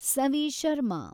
Savi Sharma